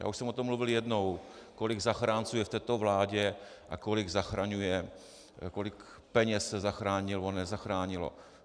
Já už jsem o tom mluvil jednou, kolik zachránců je v této vládě a kolik peněz se zachránilo nebo nezachránilo.